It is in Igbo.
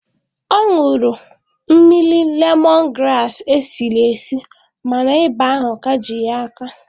Ọ nwụrụ mmiri lemọn graasị e siri esi ma na ịba ahụ ka ji ya aka.